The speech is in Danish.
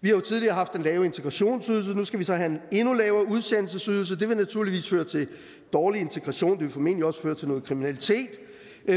vi har jo tidligere haft den lave integrationsydelse og nu skal vi så have en endnu lavere udsendelsesydelse det vil naturligvis føre til dårlig integration og det vil formentlig også føre til noget kriminalitet